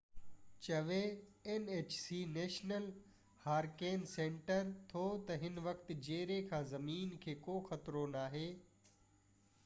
national hurricane center nhc چوي ٿو تہ هن وقت جيري کان زمين کي ڪو خطرو ناهي